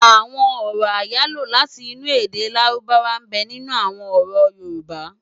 Awòn òrò áyáló láti inú èdè lárúbáwá nbè ninú awòn òrò yórùbå